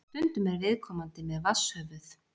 Stundum er viðkomandi með vatnshöfuð.